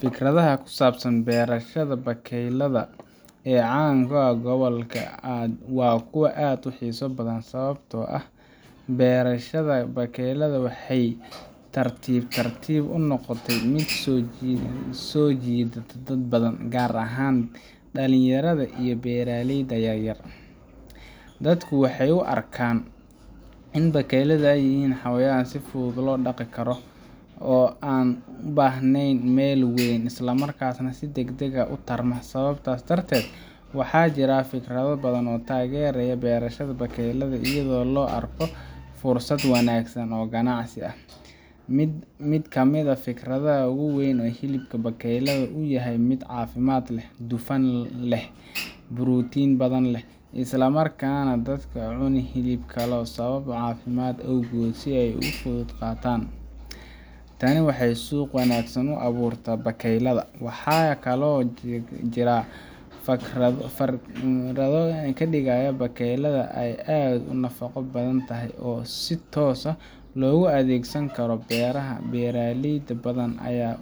Fikradaha ku saabsan beerashada bakeylaha ee caan ka ah gobolka waa kuwo aad u xiiso badan, sababtoo ah beerashada bakeylaha waxay si tartiib tartiib ah u noqotay mid soo jiidata dad badan, gaar ahaan dhalinyarada iyo beeraleyda yaryar. Dadku waxay u arkaan in bakeylaha ay yihiin xayawaan si fudud loo dhaqi karo, aan u baahnayn meel weyn, islamarkaasna si degdeg ah u tarma. Sababtaas darteed, waxaa jira fikrado badan oo taageeraya beerashada bakeylaha iyadoo loo arko fursad wanaagsan oo ganacsi. Mid ka mid ah fikradaha ugu weyn waa in hilibka bakeylaha uu yahay mid caafimaad leh, dufan yar leh, borotiin badan leh, isla markaana dadka aan cunin hilib kale sababo caafimaad awgood ay si fudud u qaataan. Tani waxay suuq wanaagsan u abuurtaa bakeylaha. Waxaa kaloo jira fikrado ah in digada bakeylaha ay aad u nafaqo badan tahay oo si toos ah loogu adeegsan karo beeraha. Beeraley badan ayaa